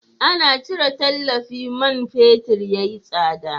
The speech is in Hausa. Ana cire tallafi man fetur ya yi tsada.